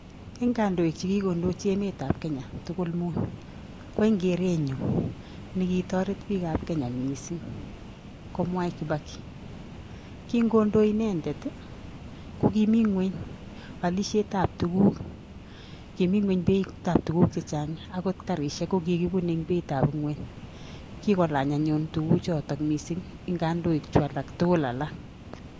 Eng' kandoik che kikondochi emetab Kenya tugul mut, ko en keret nyu ne kitoret biikab Kenya missing, ko Mwai Kibaki. Kingondoi inendet, kokimi ng'uny alisietab tuguk. Kimi ng'uny beitab tuguk chechang', angot karishiek, kokikibune eng' beitab ng'uny. Kikolany anyun tuguk chotok missing eng' kandoik chu alak tugul alak.